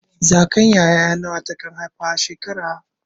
Zakayan ƴaƴa nawa ta kan haifa a shekara?